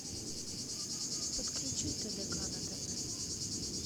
подключи тдк на тв